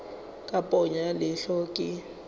ka ponyo ya leihlo ke